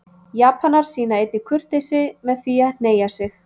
Japanar sýna einnig kurteisi með því að hneigja sig.